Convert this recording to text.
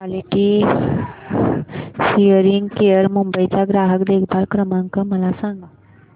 quality hearing care Mumbai चा ग्राहक देखभाल क्रमांक मला सांगा